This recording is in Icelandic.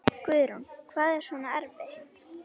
Guðrún: Hvað er svona erfitt?